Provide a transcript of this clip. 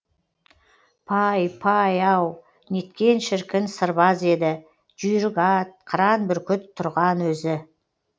пай пай ау неткен шіркін сырбаз еді жүйрік ат қыран бүркіт тұрған өзі